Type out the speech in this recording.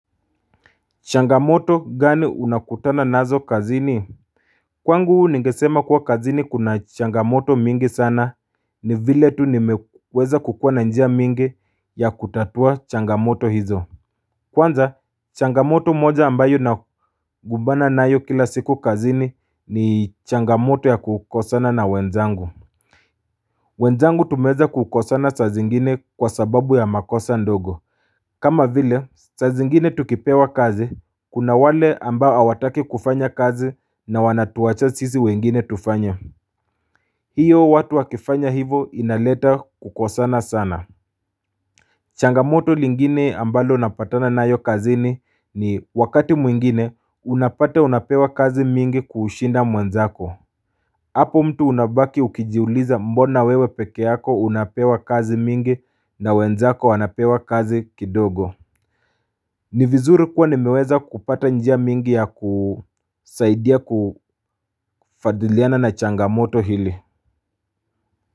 Changamoto gani unakutana nazo kazini Kwangu nigesema kuwa kazini kuna changamoto mingi sana ni vile tu nimeweza kukua na njia mingi ya kutatua changamoto hizo Kwanza changamoto moja ambayo nakumbana nayo kila siku kazini ni changamoto ya kukosana na wenzangu wenzangu tumeweza kukosana saa zingine kwa sababu ya makosa ndogo kama vile saa zingine tukipewa kazi, kuna wale ambao hawataki kufanya kazi na wanatuacha sisi wengine tufanye. Hiyo watu wakifanya hivo inaleta kukosana sana changamoto lingine ambalo napatana nayo kazini ni wakati mwingine unapata unapewa kazi mingi kushinda mwenzako. Hapo mtu unabaki ukijiuliza mbona wewe peke yako unapewa kazi nyingi na wenzako wanapewa kazi kidogo. Ni vizuri kuwa nimeweza kupata njia nyingi ya kusaidia kufuatiliana na changamoto hizi.